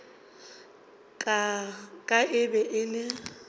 ka e be e le